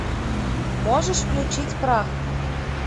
можешь включить прах